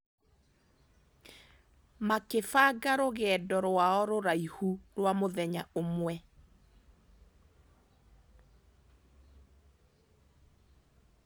Makĩbanga rũgendo rwao rũraihu rwa mũthenya ũmwe.